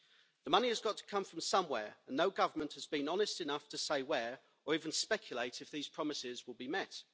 The money has got to come from somewhere, and no government has been honest enough to say where or even speculate if these promises will be met.